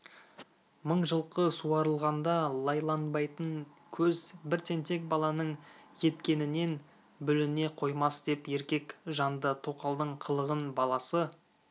мың жылқы суарылғанда лайланбайтын көз бір тентек баланың еткенінен бүліне қоймас деп еркек жанды тоқалдың қылығын баласы